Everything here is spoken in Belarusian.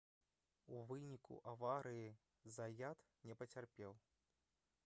у выніку аварыі заят не пацярпеў